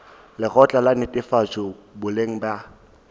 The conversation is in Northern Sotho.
lekgotla la netefatšo boleng bja